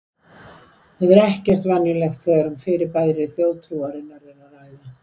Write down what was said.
Þetta er ekki venjulegt þegar um fyrirbæri þjóðtrúarinnar er að ræða.